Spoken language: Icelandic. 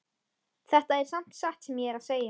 Þetta er samt satt sem ég er að segja